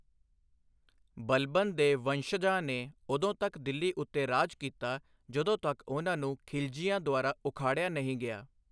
ਬਲਬਨ ਦੇ ਵੰਸ਼ਜਾਂ ਨੇ ਉਦੋਂ ਤੱਕ ਦਿੱਲੀ ਉੱਤੇ ਰਾਜ ਕੀਤਾ ਜਦੋਂ ਤੱਕ ਉਨ੍ਹਾਂ ਨੂੰ ਖਿਲਜੀਆਂ ਦੁਆਰਾ ਉਖਾੜਿਆ ਨਹੀਂ ਗਿਆ।